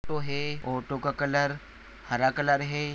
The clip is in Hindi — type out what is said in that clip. ऑटो है ऑटो का कलर हरा कलर है।